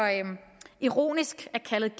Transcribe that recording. ironisk